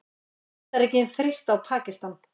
Bandaríkin þrýsta á Pakistan